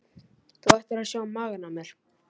Þú ættir að sjá magann á mér.